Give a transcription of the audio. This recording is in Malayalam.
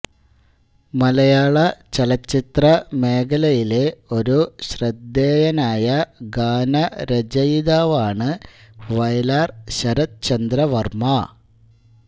മലയാളചലച്ചിത്ര മേഖലയിലെ ഒരു ശ്രദ്ധേയനായ ഗാനരചയിതാവാണ് വയലാർ ശരത് ചന്ദ്ര വർമ്മ